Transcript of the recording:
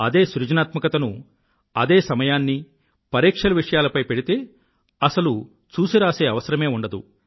అదే సృజనాత్మకతను అదే సమయాన్ని పరీక్ష విషయాలపై పెడితే అసలు చూసిరాసే అవసరమే ఉండదు